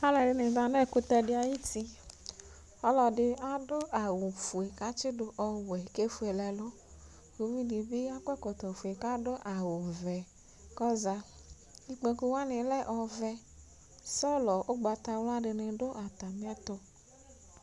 aloɛdini za no ɛkutɛ di ayiti ɔloɛdi ado awu fue k'atsi do ɔwɛ k'efuele ɛlu kò uvi di bi akɔ ɛkɔtɔ fue k'ado awu vɛ k'ɔza ikpoku wani lɛ ɔvɛ sɔlɔ ugbata wla dini do atamiɛto